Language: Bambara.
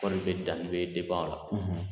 Kɔɔri bɛ danni bɛ la